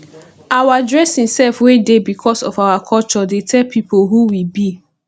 our dressing sef wey dey becos of our culture dey tell pipo who we be